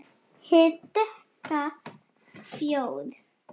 Hið dökka fljóð.